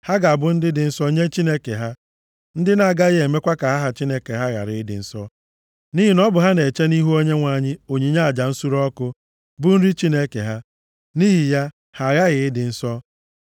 Ha ga-abụ ndị dị nsọ nye Chineke ha, ndị na-agaghị emekwa ka aha Chineke ha ghara ịdị nsọ. Nʼihi na ọ bụ ha na-eche nʼihu Onyenwe anyị onyinye aja nsure ọkụ, bụ nri Chineke ha. Nʼihi ya, ha aghaghị ịdị nsọ.